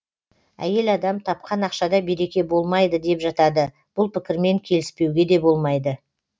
әйел адам тапқан ақшада береке болмайды деп жатады бұл пікірмен келіспеуге де болмайды